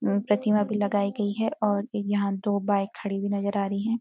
प्रतिमा भी लगाई गई है और यहाँ दो बाइक खड़ी हुई नजर आ रही हैं।